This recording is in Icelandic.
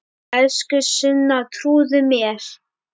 Elsku Sunna, trúðu mér!